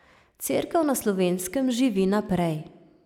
Cerkev na Slovenskem živi naprej.